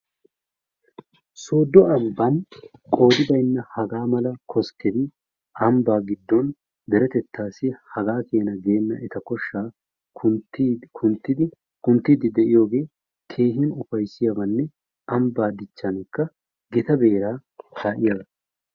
sooddo ambban qoodi bayinna hagaa mala geenna koskketi ambbaa giddon deretettaassi hagaa keena geenna eta koshshaa kunttiidi kunttiiddi de'iyoogee keehin ufayissiyaabanne ambbaa dichchaanikka gita beeraa kaa'iyaaba.